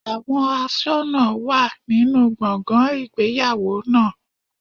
Àwọn aṣọ́nà wà nínú gbọ̀ngàn ìgbéyàwó náà.